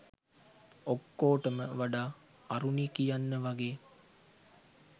ඔක්කොටොම වඩා අරුණි කියන්න වගේ